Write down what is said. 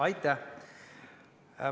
Aitäh!